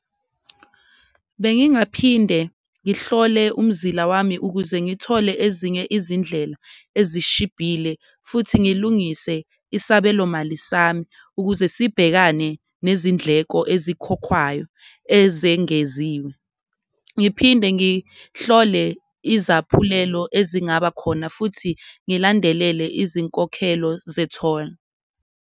Bengingaphinde ngihlole umzila wami ukuze ngithole ezinye izindlela ezishibhile futhi ngilungise isabelomali sami ukuze sibhekane nezindleko ezikhokhwayo ezengeziwe. Ngiphinde ngihlole izaphulelo ezingaba khona futhi ngilandelele izinkokhelo zetholi.